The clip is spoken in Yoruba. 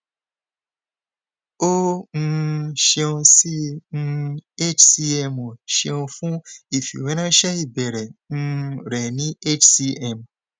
o um ṣeun si um hcmo ṣeun fun ifiweranṣẹ ibeere um rẹ ni hcm